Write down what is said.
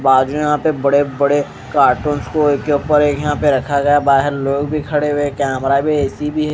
बाजू यहां पे बड़े बड़े कार्टून्स को एक के ऊपर एक यहां पे रखा गया बाहर लोग भी खड़े हुए कैमरा भी ए_सी भी है।